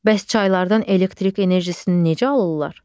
Bəs çaylardan elektrik enerjisini necə alırlar?